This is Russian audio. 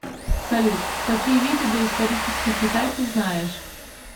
салют какие виды доисторический китай ты знаешь